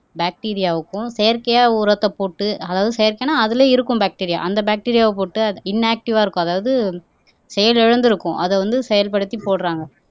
பாக்டீரியாவுக்கும் செயற்கையா உரத்தை போட்டு அதாவது செயற்கைன்னா அதிலே இருக்கும் பாக்டீரியா அந்த பாக்டீரியாவை போட்டு அது இன்ஆக்ட்டிவா இருக்கும் அதாவது செயல் இழந்திருக்கும் அதை வந்து செயல்படுத்தி போடுறாங்க